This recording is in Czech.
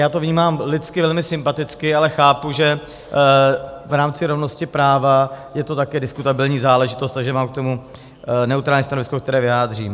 Já to vnímám lidsky velmi sympaticky, ale chápu, že v rámci rovnosti práva je to taky diskutabilní záležitost, takže mám k tomu neutrální stanovisko, které vyjádřím.